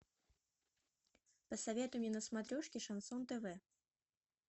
посоветуй мне на смотрешке шансон тв